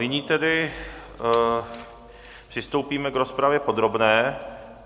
Nyní tedy přistoupíme k rozpravě podrobné.